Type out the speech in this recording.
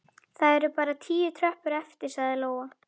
Það eru bara tíu tröppur eftir, sagði Lóa.